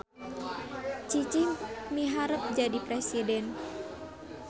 Cicih miharep jadi presiden